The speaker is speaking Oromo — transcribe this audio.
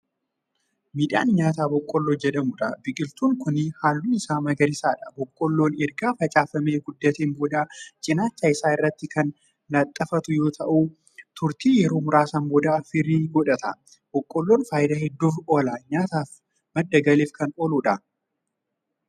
Midhaan nyaataa boqqoolloo jedhamuudha. biqiltuun Kuni halluun Isaa magariisaadha. boqqoolloon erga facaafamee guddateen booda cinaacha Isaa irratti Kan laaxxafatu yoo ta'u turtiin yeroo muraasaan booda firii godhata. boqqoolloon faayidaa hedduuf oola. nyaataafi madda galiif Kan ooludha.